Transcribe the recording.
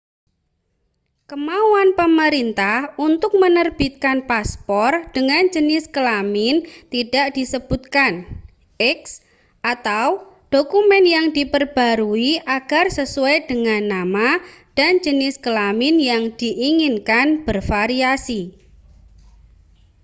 kemauan pemerintah untuk menerbitkan paspor dengan jenis kelamin tidak disebutkan x atau dokumen yang diperbarui agar sesuai dengan nama dan jenis kelamin yang diinginkan bervariasi